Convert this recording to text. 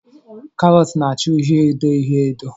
Karot na -acha uhie edo uhie edo.